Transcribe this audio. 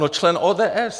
No člen ODS!